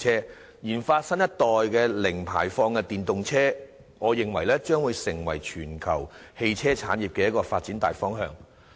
我認為研發新一代的零排放電動車，將成為全球汽車產業發展的大方向。